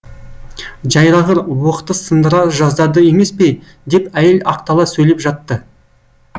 жайрағыр уықты сындыра жаздады емес пе деп әйел ақтала сөйлеп жатты